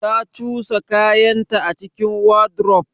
Ta cusa kayanta a cikin wardrobe?